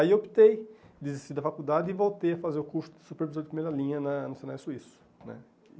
Aí eu optei desistir da faculdade e voltei a fazer o curso de Supervisor de Primeira Linha na no Senai Suíço, né?